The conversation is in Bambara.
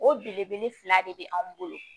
O belebele fila de be anw bolo